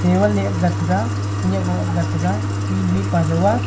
teval leh aak ghat taiga khanyak nu aa aak ghat taiga mihnu mihpa jow a.